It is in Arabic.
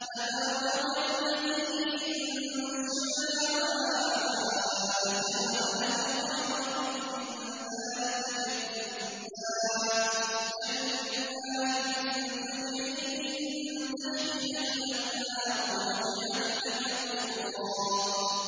تَبَارَكَ الَّذِي إِن شَاءَ جَعَلَ لَكَ خَيْرًا مِّن ذَٰلِكَ جَنَّاتٍ تَجْرِي مِن تَحْتِهَا الْأَنْهَارُ وَيَجْعَل لَّكَ قُصُورًا